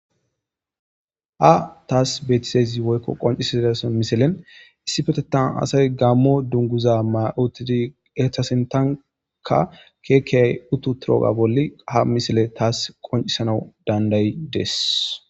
Ha taas betizaysi woykko qoncisidasan misilen issi petetan asay gammo dunguza mautidi etasintanka keekeyay uttu turooga bolli ha misile taas qoncisanawu dandayi dees